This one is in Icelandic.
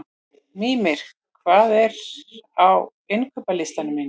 Mímir, hvað er á innkaupalistanum mínum?